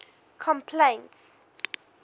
complaints